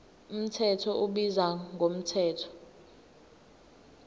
mthetho ubizwa ngomthetho